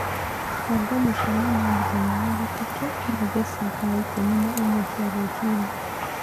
banga mũcemanio mũthenya wa gatatũ na Jesse thaa ikũmi na ĩmwe cia rũcinĩ